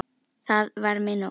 Það var mér nóg.